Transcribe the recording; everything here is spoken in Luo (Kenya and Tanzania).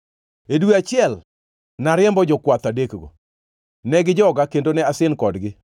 E dwe achiel nariembo jokwath adekgo. Ne gijoga kendo ne asin kodgi